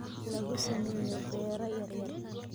lagu sameeyo beero yaryar.